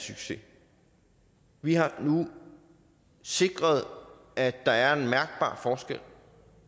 succes vi har nu sikret at der er en mærkbar forskel